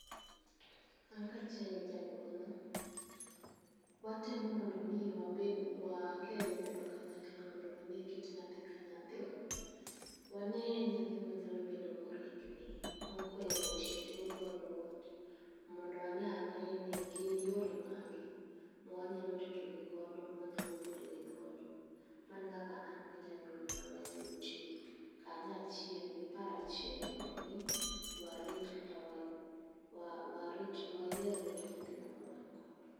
An kaachiel gi janyuolna, watemo mondo omi wabed, wakel nyithindo kanyakla, mondo wanee kit nyathi ka nyathi. Wanee nyathi manyalo bedo morikni, mokohero tich, mokohero ote. Mondo waneane ni gin yore mage, mwanyalo ritogigodo, mwanyalo puonjo gigodo. Mano e kaka an gi janyuolna wanyalo tiyo, kanyachiel, gi paro achiel, mondo omi warit, kata wa wa, warit, wayie rito nyithindo ma wangodo.